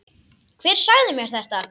Hver sagði mér þetta?